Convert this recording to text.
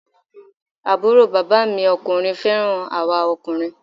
Àbúrò bàbá mi ọkùnrin fẹ́ràn àwa ọkùnrin